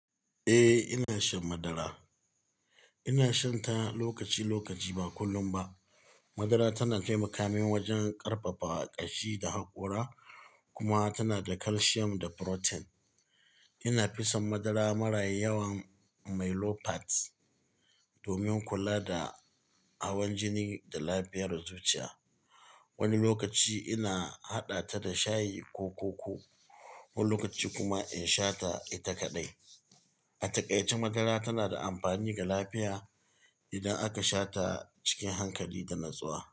Eh, ina shan madara. Ina shan ta lokaci-lokaci ba kullum ba. Madara tana taimaka min wajen ƙarfafa ƙashi da haƙora kuma tana da calcium da protein. Ina fison madara mara yawan "milk fats" domin kula da hawan jini da lafiyar zuciya. Wani lokaci ina haɗa ta da shayi ko koko, wani lokaci kuma in sha ita kadai. A takaice madara tana da amfani ga lafiya idan aka sha ta cikin hankali da natsuwa.